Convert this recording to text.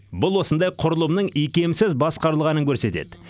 бұл осындай құрылымның икемсіз басқарылғанын көрсетеді